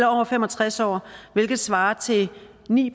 over fem og tres år hvilket svarer til ni